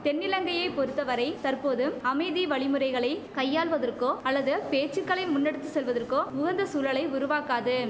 தென்னிலங்கையை பொறுத்த வரை தற்போது அமைதி வழிமுறைகளை கையாள்வதற்கோ அல்லது பேச்சுக்களை முன்னெடுத்து செல்வதற்கோ உகந்த சூழலை உருவாக்காது